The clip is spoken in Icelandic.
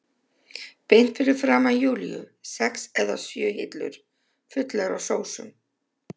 Beint fyrir framan Júlíu sex eða sjö hillur fullar af sósum.